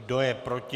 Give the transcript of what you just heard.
Kdo je proti?